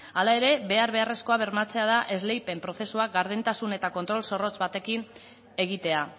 hala ere behar beharrezkoa bermatzea da esleipen prozesua gardentasun eta kontrol zorrotz batekin egitea